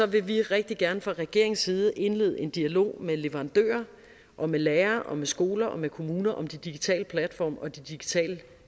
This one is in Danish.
vil vi rigtig gerne fra regeringens side indlede en dialog med leverandører og med lærere og med skoler og med kommuner om de digitale platforme og de digitale